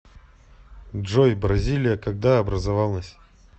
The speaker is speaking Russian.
джой бразилия когда образовалась